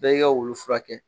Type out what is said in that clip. Bɛɛ i ka wulu furakɛ.